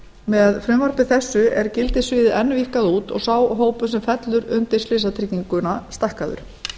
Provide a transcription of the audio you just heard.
með frumvarpi þessu er gildissviðið enn víkkað út og sá hópur sem fellur undir slysatrygginguna stækkaður